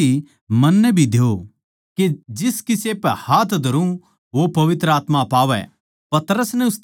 या शक्ति मन्नै भी द्यो के जिस किसे पै हाथ धरुँ वो पवित्र आत्मा पावै